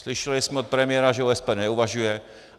Slyšeli jsme od premiéra, že o SPD neuvažuje.